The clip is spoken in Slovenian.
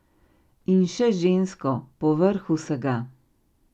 In še žensko, povrh vsega.